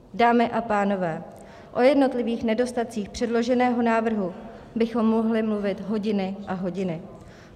Dámy a pánové, o jednotlivých nedostatcích předloženého návrhu bychom mohli mluvit hodiny a hodiny.